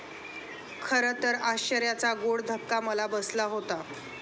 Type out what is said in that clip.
खरं तर आश्चर्याचा गोड धक्का मला बसला होता.